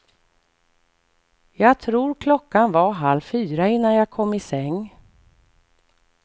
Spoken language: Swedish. Jag tror klockan var halv fyra innan jag kom i säng.